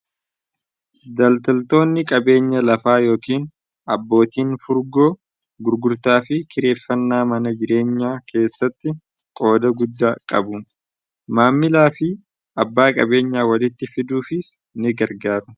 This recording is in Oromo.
daltaltoonni qabeenya lafaa yookiin abbootiin furgoo gurgurtaa fi kireeffannaa mana jireenyaa keessatti qooda guddaa qabu maammilaa fi abbaa qabeenyaa walitti fiduufiis ni gargaaru